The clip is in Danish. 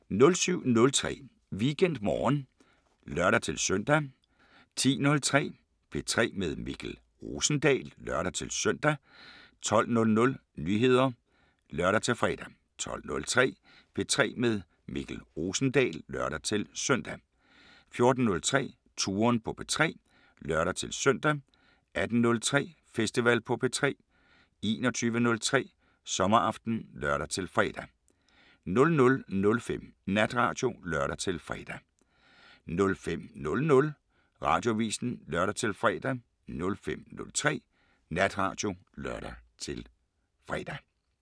07:03: WeekendMorgen (lør-søn) 10:03: P3 med Mikkel Rosendal (lør-søn) 12:00: Nyheder (lør-fre) 12:03: P3 med Mikkel Rosendal (lør-søn) 14:03: Touren på P3 (lør-søn) 18:03: Festival på P3 21:03: Sommeraften (lør-fre) 00:05: Natradio (lør-fre) 05:00: Radioavisen (lør-fre) 05:03: Natradio (lør-fre)